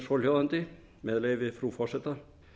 svohljóðandi með leyfi frú forseta